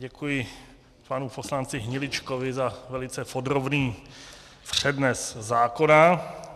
Děkuji panu poslanci Hniličkovi za velice podrobný přednes zákona.